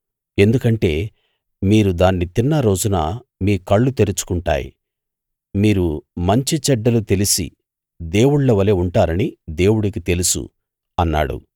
ఎందుకంటే మీరు దాన్ని తిన్న రోజున మీ కళ్ళు తెరుచుకుంటాయి మీరు మంచి చెడ్డలు తెలిసి దేవుళ్ళ వలె ఉంటారని దేవుడికి తెలుసు అన్నాడు